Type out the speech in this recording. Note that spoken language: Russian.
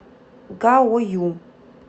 гаою